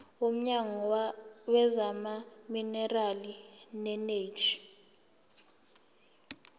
womnyango wezamaminerali neeneji